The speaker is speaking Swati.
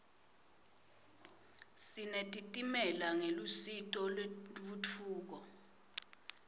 sinetitimela ngelusito lentfutfuko